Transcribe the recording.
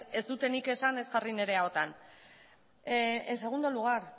ez dut nik esan ez jarri nire ahotan en segundo lugar